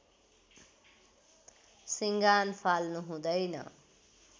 सिँगान फाल्नु हुँदैन